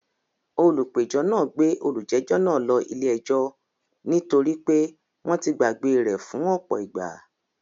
Olùpẹ̀jọ́ náà gbé olùjẹ́jọ́ náà ló ilé ẹjọ́ ní torí pé wọ́n ti gbàgbé e rẹ̀ fún ọ̀pọ̀ ìgbà